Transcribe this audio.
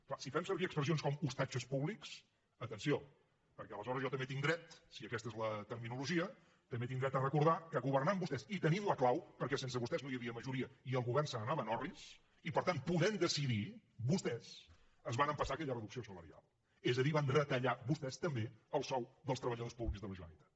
clar si fem servir expressions com ostatges públics atenció perquè aleshores jo si aquesta és la terminologia també tinc dret a recordar que governant vostès i tenint la clau perquè sense vostès no hi havia majoria i el govern se n’anava en orris i per tant podent decidir vostès es van empassar aquella reducció salarial és a dir van retallar vostès també el sou dels treballadors públics de la generalitat